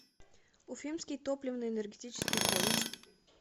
уфимский топливно энергетический колледж